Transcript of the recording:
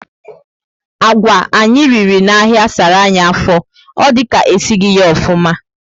Agwà anyị riri na áhiá sárá anyị afọ. Ọ dị ka esighi ya ofụma